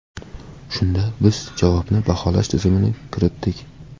Shunda biz javobni baholash tizimini kiritdik.